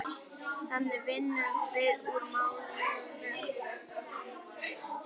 Þannig vinnum við úr málunum